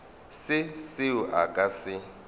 se seo a ka se